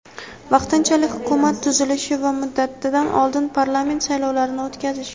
vaqtinchalik Hukumat tuzilishi va muddatidan oldin parlament saylovlarini o‘tkazish.